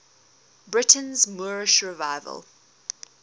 britain's moorish revival